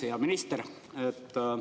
Hea minister!